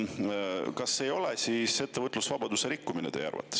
Kas see ei ole teie arvates ettevõtlusvabaduse rikkumine?